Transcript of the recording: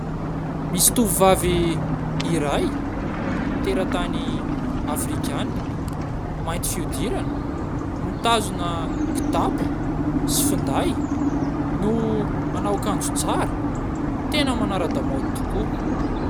Misy tovovavy iray teratany afrikanina, mainty fihodirana, mitazona kitapo sy finday no manao akanjo tsara, tena manara-damôdy tokoa.